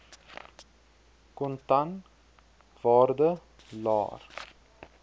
kontan waarde laer